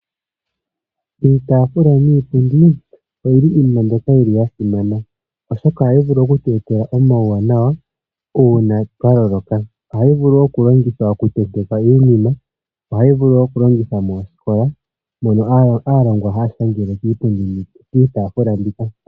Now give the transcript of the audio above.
Iitaafula niipundi oyili iinima mbyoka ya simana oshoka ohayi vulu oku tu etela omauwanawa uuna twa loloka. Ohayi vulu okulongithwa okutentekwa iinima. Ohayi vuku wo okulongitha moosikola mono aalongwa haya shangele kiitaafula mbika.